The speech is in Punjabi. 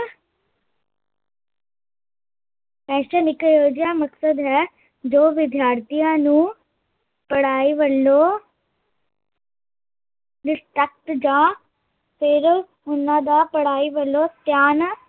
ਫੈਸ਼ਨ ਇੱਕ ਇਹੋ ਜਿਹਾ ਮਕਸਦ ਹੈ ਜੋ ਵਿਦਿਆਰਥੀਆ ਨੂੰ ਪੜਾਈ ਵੱਲੋਂ ਜਾਂ ਫਿਰ ਉਹਨਾਂ ਦਾ ਪੜਾਈ ਵੱਲੋਂ ਧਿਆਨ